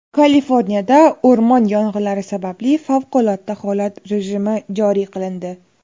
Kaliforniyada o‘rmon yong‘inlari sababli favqulodda holat rejimi joriy qilindi .